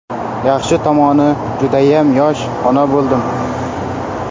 Yaxshi tomoni, judayam yosh ona bo‘ldim.